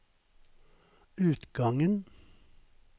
utgangen